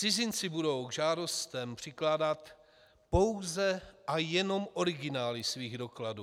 Cizinci budou k žádostem přikládat pouze a jenom originály svých dokladů.